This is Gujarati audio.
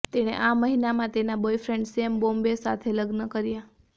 તેણે આ મહિનામાં તેના બોયફ્રેન્ડ સેમ બોમ્બે સાથે લગ્ન કર્યા